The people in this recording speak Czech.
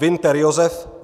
Winter Josef